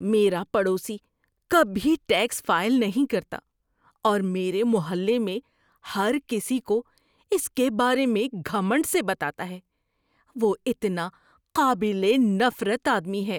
میرا پڑوسی کبھی ٹیکس فائل نہیں کرتا اور میرے محلے میں ہر کسی کو اس کے بارے میں گھمنڈ سے بتاتا ہے۔ وہ اتنا قابل نفرت آدمی ہے۔